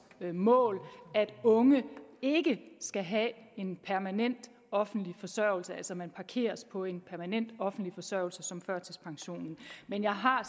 mål at unge ikke skal have en permanent offentlig forsørgelse altså at man parkeres på en permanent offentlig forsørgelse som førtidspensionen men jeg har